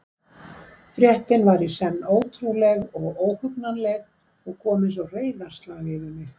Fréttin var í senn ótrúleg og óhugnanleg og kom einsog reiðarslag yfir mig.